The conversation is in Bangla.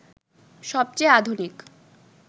সবচেয়ে আধুনিক